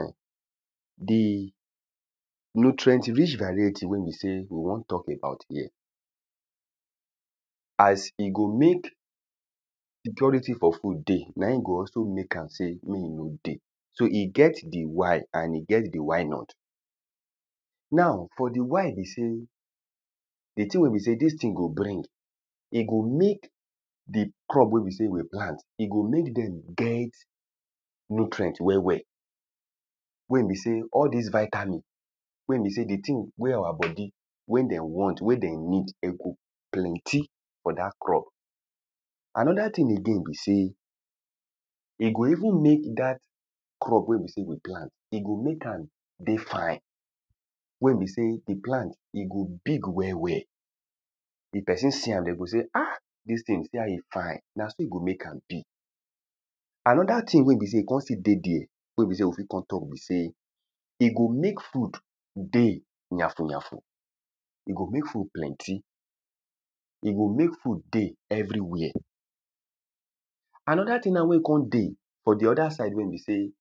[um]di nutrient rich variety wen be se we won talk about here as e go mek security for food dey nain go also mek am sey me e no dey so e get di why and e get di why not now for di why be sey di tin wen be sey dis tin go bring e go mek di crop we be sey we plant e go mek dem get nutrient well well wen be sey all dis vitamin wen be sey di tin wey our bodi wen den want wen den need de go plenty for dat crop anoda tin again be sey e go even mek dat crop we be sey dey plant e go even mek am dey fine we be sey di plant e go big well well if pesin see am dey go say ah dis tin see as e fine na so e go mek am be anoda tin wen be sey kon still dey there we be se we fit kon talk be se e go mek food dey yafun yafun e go mek food plenty e go mek food dey everywhere anoda tin na wen kon dey for di oda side wen be sey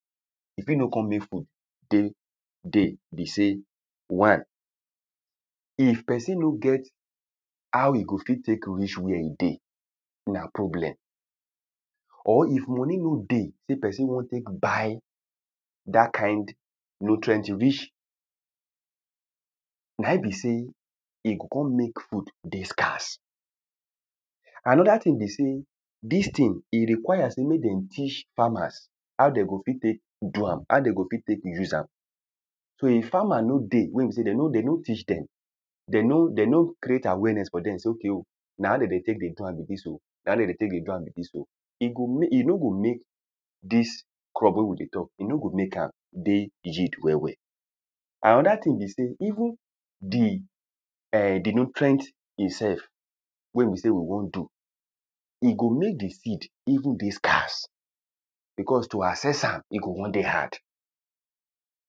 e fit no kon mek food tek dey be sey one if pesin no get how e fit tek reach were e dey na problem or if moni no dey we pesin won tek buy dat kind nutrient rich na in be sey e o kon mek food dey scarce anoda tin be sey dis tin e requires mek den teach farmers how den go fit tek do am how de go fit tek dey use am so if farmers no dey wen be sey den no teach dem de no de no cret awareness for dem se ok ok na how de dey tek dey do am be dis oh na how de dey tek dey do am be dis oh e go mek e no go mek dis crop wen we dey talk e no go mek am dey yeild well well anoda tin be sey even di nutrient itself wen be sey we won do e go mek di seed even dey scarce because to access am e go won dey hard